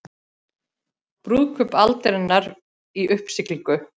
Brúðkaup aldarinnar í uppsiglingu